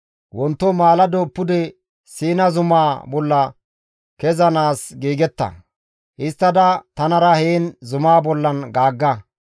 Wonto maalado pude Siina zumaa bolla kezanaas giigetta; histtada tanara heen zumaa bollan gaagga.